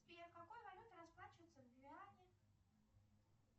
сбер какой валютой расплачиваются в гвиане